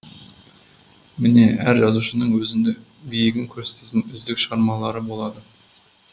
міне әр жазушының өзіндік биігін көрсететін үздік шығармалары болады